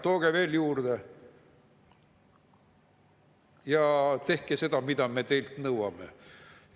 Tooge veel juurde, ja tehke seda, mida me teilt nõuame!